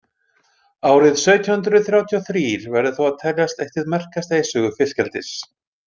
Árið sautján hundrað þrjátíu og þrír verður þó að teljast eitt hið merkasta í sögu fiskeldis.